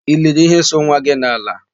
I liri íhé so nwa gị n'ala?